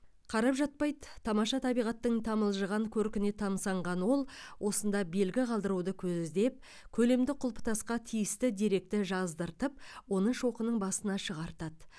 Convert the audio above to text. қарап жатпайды тамаша табиғаттың тамылжыған көркіне тамсанған ол осында белгі қалдыруды көздеп көлемді құлпытасқа тиісті деректі жаздыртып оны шоқының басына шығартады